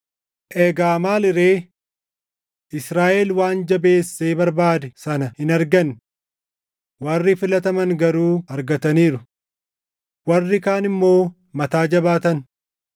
Egaa maali ree? Israaʼel waan jabeessee barbaade sana hin arganne; warri filataman garuu argataniiru. Warri kaan immoo mataa jabaatan.